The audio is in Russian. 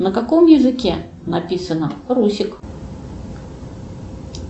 на каком языке написано русик